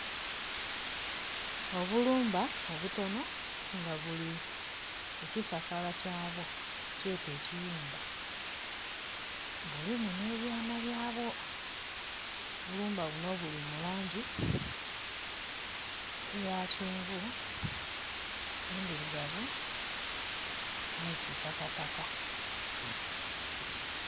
Obulumba obutono nga buli ku kisasala kya bwo kyete eki yumba bulimu ne byana bya bwo. Obulumba buno buli mu langi eya kyenvu, endhirugavu ni kitakataka.